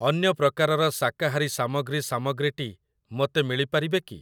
ଅନ୍ୟ ପ୍ରକାରର ଶାକାହାରୀ ସାମଗ୍ରୀ ସାମଗ୍ରୀଟି ମୋତେ ମିଳିପାରିବେ କି?